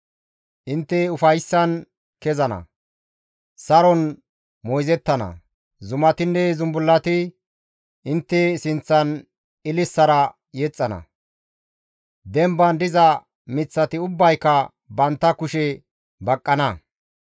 Intte ufayssan kezana; saron moyzettana. Zumatinne zumbullati intte sinththan ililisara yexxana; demban diza miththati ubbayka bantta kushe baqqana.